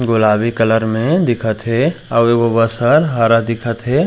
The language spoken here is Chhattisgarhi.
गुलाबी कलर में दिखत हे अऊ एगो बस ह हरा दिखत हे।